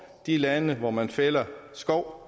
de lande hvor man fælder skov